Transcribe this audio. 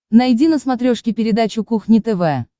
найди на смотрешке передачу кухня тв